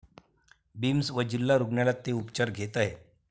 Beams व जिल्हा रुग्णालयात ते उपचार घेत आहेत.